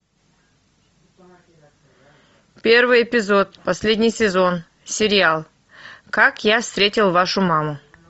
первый эпизод последний сезон сериал как я встретил вашу маму